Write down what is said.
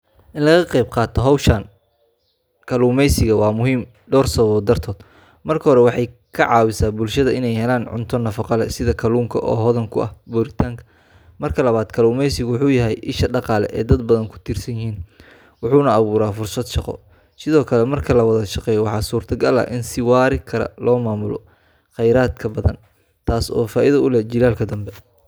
In laga qayb qaato hawsha kalluumaysiga waa muhiim dhowr sababood dartood. Marka hore, waxay ka caawisaa bulshada inay helaan cunto nafaqo leh sida kalluunka oo hodan ku ah borotiinka. Marka labaad, kalluumaysigu wuxuu yahay isha dhaqaale ee dad badan ku tiirsan yihiin, wuxuuna abuuraa fursado shaqo. Sidoo kale, marka la wada shaqeeyo, waxaa suurtagal ah in si waari kara loo maamulo khayraadka badda, taas oo faa’iido u leh jiilalka dambe.